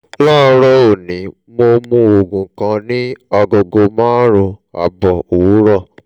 láàárọ̀ òní mo mu oògùn kan ní agogo márùn-ún ààbọ̀ òwúrọ̀